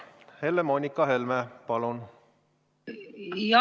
Helle-Moonika Helme, palun!